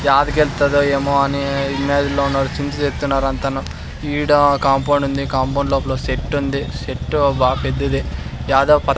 యాది గెలుస్తాడో ఏమో అని ఇమేజిన్లో ఉన్నారు చింత చేస్తున్నారు అంతాను ఈడ కాంపౌండ్ ఉంది కాంపౌండ్ లోపాల సెట్టుంది సెట్టు బాగా పెద్దది యాదో.